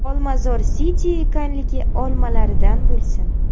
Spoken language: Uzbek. Olmazor City ekanligi olmalaridan bo‘lsin.